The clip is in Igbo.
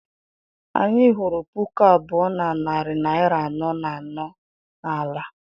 Anyị hụrụ puku abụọ na narị naira anọ na anọ n'ala.